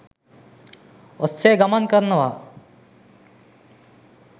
ඔස්සේ ගමන් කරනවා.